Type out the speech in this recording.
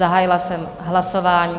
Zahájila jsem hlasování.